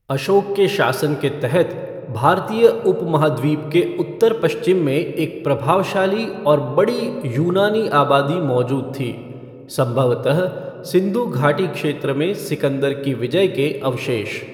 अशोक के शासन के तहत भारतीय उपमहाद्वीप के उत्तर पश्चिम में एक प्रभावशाली और बड़ी यूनानी आबादी मौजूद थी, संभवतः सिंधु घाटी क्षेत्र में सिकंदर की विजय के अवशेष।